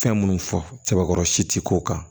Fɛn minnu fɔkɔrɔ si ti k'o kan